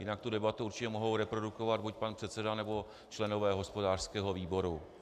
Jinak tu debatu určitě mohou reprodukovat buď pan předseda, nebo členové hospodářského výboru.